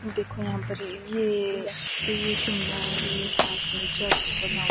देखो यहां पर ये तो ये शिमला है और ये साथ में चर्च बना--